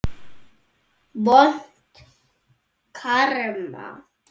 Vont karma.